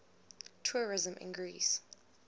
tourism in greece